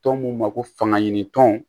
Tɔn mun ma ko fanga ɲini tɔn